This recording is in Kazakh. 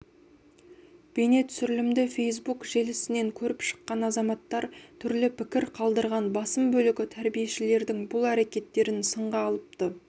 бейнетүсірілімді фейсбук желісінен көріп шыққан азаматтар түрлі пікір қалдырған басым бөлігі тәрбиешілердің бұл әректтерін сынға алыпты